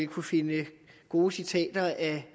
kunne finde gode citater af